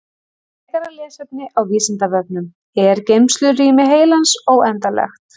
Frekara lesefni á Vísindavefnum Er geymslurými heilans óendanlegt?